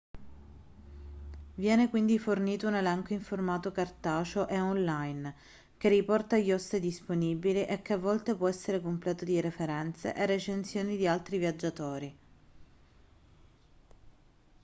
viene quindi fornito un elenco in formato cartaceo e/o online che riporta gli host disponibili e che a volte può essere completo di referenze e recensioni di altri viaggiatori